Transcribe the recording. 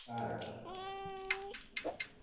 start